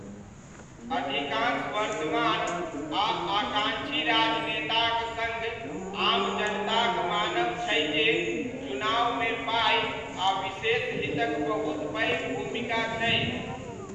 अधिकांश वर्तमान आ आकाङ्क्षी राजनेताक सङ्ग आम जनताक मानब छै जे चुनावमे पाइ आ विशेष हितक बहुत पैघ भूमिका छै।